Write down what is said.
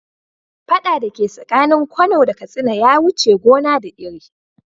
Fada dake tsakanin kano da katsina ya wuce gona da iri.